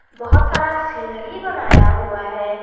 बहुत सारा सीढ़ी बनाया हुआ है।